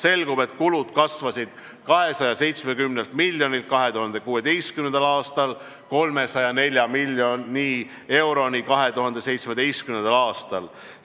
Selgub, et kulud kasvasid 270 miljonist eurost 2016. aastal 304 miljoni euroni 2017. aastal.